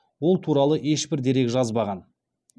ол туралы ешбір дерек жазбаған